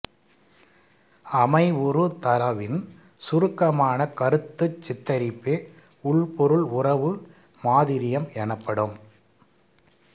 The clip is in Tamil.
அமைவுறு தரவின் சுருக்கமான கருத்துருச் சித்தரிப்பே உள்பொருள் உறவு மாதிரியம் எனப்படும்